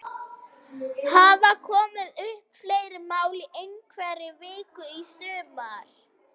Hafa komið upp fleiri mál í einhverri viku í sumar?